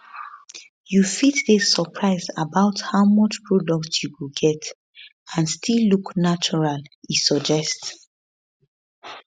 you fit dey surprise about how much product you go get and still look natural e suggest